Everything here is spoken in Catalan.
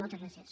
moltes gràcies